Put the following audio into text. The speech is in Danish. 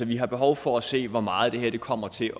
vi har behov for at se hvor meget det her kommer til